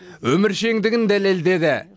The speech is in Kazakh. өміршеңдігін дәлелдеді